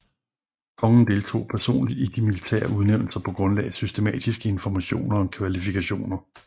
Kongen deltog personligt i de militære udnævnelser på grundlag af systematiske informationer om kvalifikationer